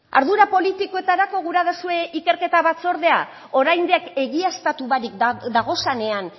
ardura politikoetarako gura dozue ikerketa batzordea oraindik egiaztatu barik dagozanean